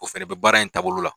O fɛnɛ bɛ baara in taabolo la.